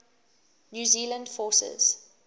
new zealand forces